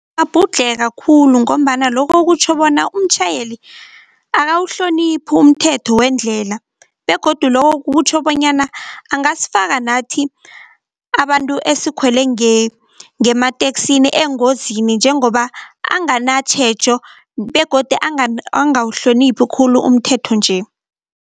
Ngiyakgabhudlheka khulu ngombana lokho kutjho bona umtjhayeli akawuhloniphi umthetho wendlela begodu lokho kutjho bonyana angasfaka nathi, abantu esikhwele ngemateksini engozini njengoba anganatjhejo begodu angawuhloniphi khulu umthetho nje.